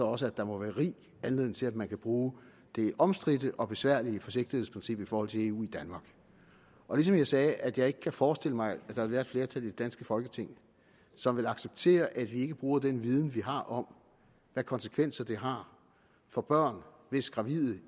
også at der må være rig anledning til at man kan bruge det omstridte og besværlige forsigtighedsprincip i forhold til eu ligesom jeg sagde at jeg ikke kan forestille mig at der vil være et flertal i det danske folketing som vil acceptere at vi ikke bruger den viden vi har om hvad konsekvenser det har for børn hvis gravide